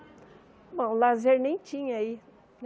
Bom, lazer nem tinha aí.